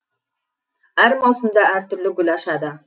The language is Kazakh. әр маусымда әртүрлі гүл ашады